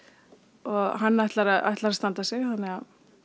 og hann ætlar að ætlar að standa sig þannig að